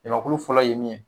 Jamakulu fɔlɔ ye min ye